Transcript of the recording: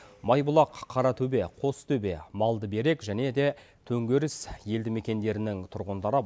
майбұлақ қаратөбе қостөбе балдыберек және де төңкеріс елді мекендерінің тұрғындары